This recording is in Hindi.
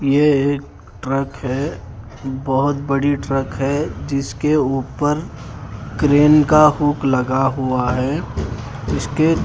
ये एक ट्रक है बहोत बड़ी ट्रक है जिस के ऊपर क्रेन का हुक लगा हुआ है उसके--